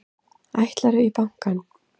Ætlarðu í bankann?